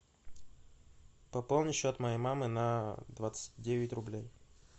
пополни счет моей мамы на двадцать девять рублей